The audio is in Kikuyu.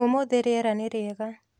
ũmũthĩ riera nĩ rĩega.